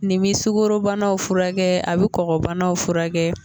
Nin bi sukarobanaw furakɛ, a bɛ kɔnɔnabanaw furakɛ.